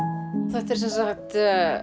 þetta er sem sagt